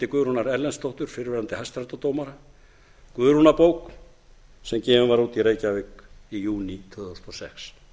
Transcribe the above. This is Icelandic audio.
guðrúnar erlendsdóttur fyrrverandi hæstaréttardómara guðrúnarbók sem gefin var út í reykjavík í júní tvö þúsund og sex